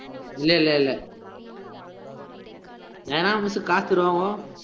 இல்ல இல்ல இல்ல ஏனா miss காசு தருவாங்கோ